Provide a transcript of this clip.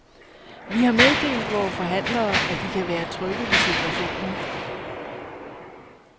Vi har meddelt vore forhandlere, at de kan være trygge ved situationen.